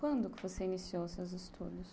Quando que você iniciou os seus estudos?